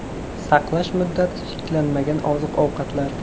Saqlash muddati cheklanmagan oziq-ovqatlar.